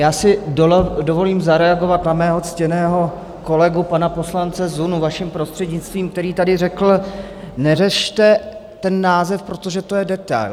Já si dovolím zareagovat na svého ctěného kolegu pana poslance Zunu, vaším prostřednictvím, který tady řekl: neřešte ten název, protože to je detail.